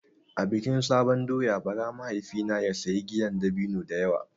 A bikin sabon doyan bara mahaifina ya sayi giyar dabino da yawa.